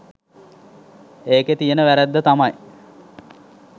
ඒකේ තියෙන වැරද්ද තමයි